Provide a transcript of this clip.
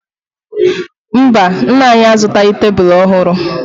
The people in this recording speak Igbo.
Mba, nna anyị azụtaghị tebulu ọhụrụ